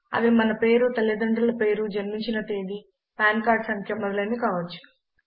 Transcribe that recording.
అవి మన పేరు తల్లిదండ్రుల పేరు జన్మించిన తేదీ పాన్ కార్డు సంఖ్య మొదలైనవి కావచ్చు